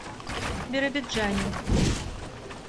биробиджане